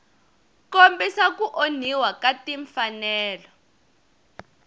kombisa ku onhiwa ka timfanelo